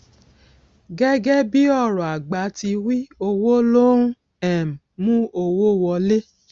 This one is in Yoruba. gẹgẹ bí ọrọ àgbà ti wí owó ló ń um mú owó wọlé